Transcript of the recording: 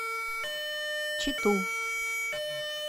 читу